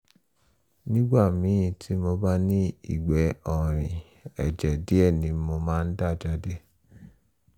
nígbà míì tí mo bá ní ìgbẹ́ ọ̀rìn ẹ̀jẹ̀ díẹ̀ ni mo máa ń dà jáde